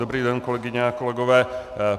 Dobrý den, kolegyně a kolegové.